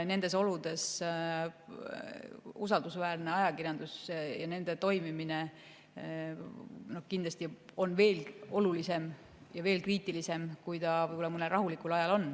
Nendes oludes on usaldusväärne ajakirjandus ja selle toimimine kindlasti veel olulisem ja veel kriitilisem, kui ta on võib-olla mõnel rahulikul ajal.